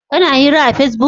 Kana hira a pesbuk?